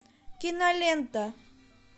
кинолента